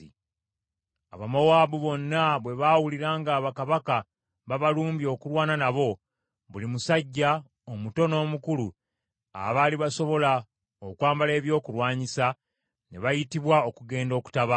Abamowaabu bonna bwe baawulira nga bakabaka babalumbye okulwana nabo, buli musajja, omuto n’omukulu abaali basobola okwambala ebyokulwanyisa, ne bayitibwa okugenda okutabaala.